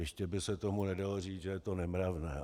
Jistě by se tomu nedalo říct, že je to nemravné.